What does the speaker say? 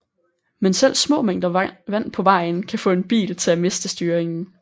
Men selv små mængder vand på vejen kan få en bil til at miste styringen